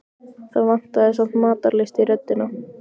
Það vantaði samt matarlyst í röddina.